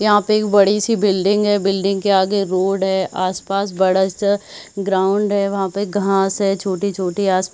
यहाँ पे एक बड़ी सी बिल्डिंग है बिल्डिंग के आगे रोड है आस-पास बड़ा सा ग्राउंड है वहाँ पे घास है छोटी-छोटी आस -प--